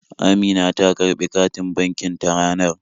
Amina ta karɓi katin bankin ta ranar